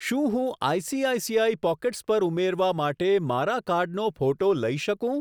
શું હું ICICI pockets પર ઉમેરવા માટે મારા કાર્ડનો ફોટો લઈ શકું?